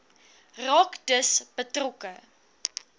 raak dus betrokke